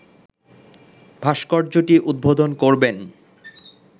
ভাস্কর্যটি উদ্বোধন করবেন